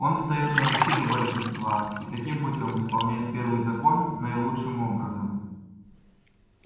он встаёт на защиту большинства и таким путём исполняет первый закон наилучшим образом